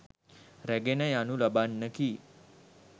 රැගෙන යනු ලබන්නකි.